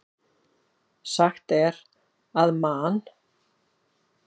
Sagt er að Man.